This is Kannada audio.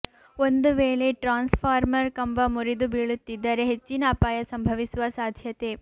ಒಂದುವೇಳೆ ಟ್ರಾನ್ಸ್ ಫಾರ್ಮರ್ ಕಂಬ ಮುರಿದು ಬೀಳುತ್ತಿದ್ದರೆ ಹೆಚ್ಚಿನ ಅಪಾಯ ಸಂಭವಿಸುವ ಸಾಧ್ಯತೆ